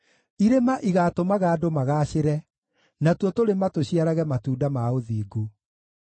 Irĩma igaatũmaga andũ magaacĩre, natuo tũrĩma tũciarage matunda ma ũthingu.